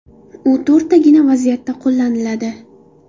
U to‘rttagina vaziyatda qo‘llaniladi.